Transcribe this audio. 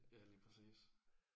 Ja lige præcis